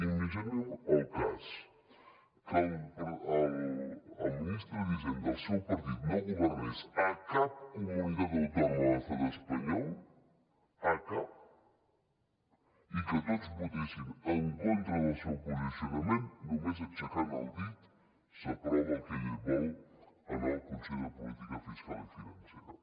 imaginem el cas que el ministre d’hisenda del seu partit no governés a cap comunitat autònoma de l’estat espanyol a cap i que tots votessin en contra del seu posicionament només aixecant el dit s’aprova el que ell vol en el consell de política fiscal i financera